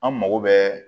An mago bɛ